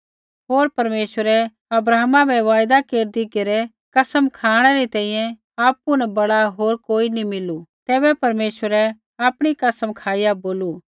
होर परमेश्वरै अब्राहमा बै वायदा केरदी घेरै कसम खाँणै री तैंईंयैं आपु न बड़ा होर कोई नी मिलू तैबै परमेश्वरै आपणी कसम खाईया बोलू